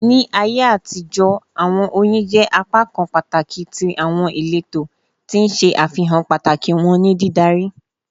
Ni Aiye atijọ, awọn oyin jẹ apakan pataki ti awọn ileto, ti n ṣe afihan pataki wọn ni didari